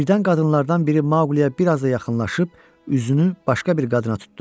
Birdən qadınlardan biri Maqliyə biraz da yaxınlaşıb üzünü başqa bir qadına tutdu.